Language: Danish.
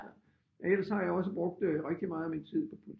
Ellers så har jeg også brugt rigtig meget af min tid på